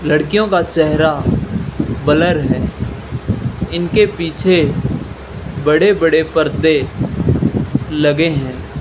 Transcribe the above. लड़कियों का चेहरा ब्लर है इनके पीछे बड़े बड़े पर्दे लगे हैं।